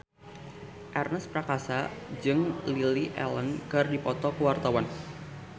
Ernest Prakasa jeung Lily Allen keur dipoto ku wartawan